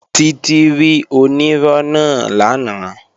Títí rí onírọ́ náà lánàá